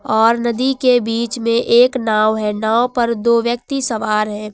और नदी के बीच में एक नांव है नांव पर दो व्यक्ति सवार हैं।